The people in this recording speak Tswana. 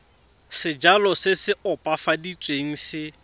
sejalo se se opafaditsweng se